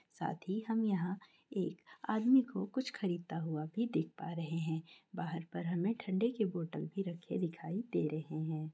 साथ ही हम यहाँ एक आदमी को कुछ खरीदता हुआ भी देख पा रहे है बाहर पर हमें ठण्डे के बोटल भी रखे दिखाई दे रहे हैं।